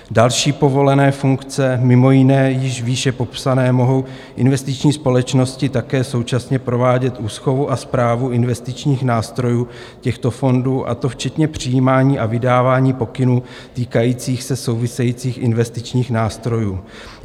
Další povolené funkce: Mimo jiné již výše popsané mohou investiční společnosti také současně provádět úschovu a správu investičních nástrojů těchto fondů, a to včetně přijímání a vydávání pokynů týkajících se souvisejících investičních nástrojů.